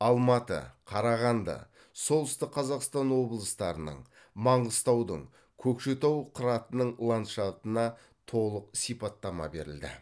алматы қарағанды солтүстік қазақстан облыстарының маңғыстаудың көкшетау қыратының ландшафтына толық сипаттама берілді